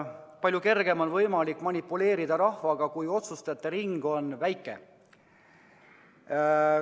Palju kergem on manipuleerida, kui otsustajate ring on väike.